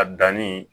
A danni